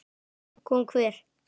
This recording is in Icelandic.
Kom hver?